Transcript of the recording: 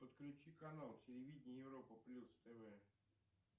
подключи канал телевидения европа плюс тв